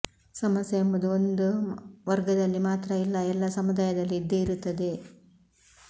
ಸಮಸ್ಯೆ ಎಂಬುದು ಒಂದು ವರ್ಗದಲ್ಲಿ ಮಾತ್ರ ಇಲ್ಲ ಎಲ್ಲಾ ಸಮುದಾಯದಲ್ಲೂ ಇದ್ದೆ ಇರುತ್ತದೆ